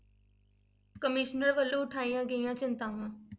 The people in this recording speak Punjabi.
Commission ਵੱਲੋਂ ਉਠਾਈਆਂ ਗਈਆਂ ਚਿੰਤਾਵਾਂ।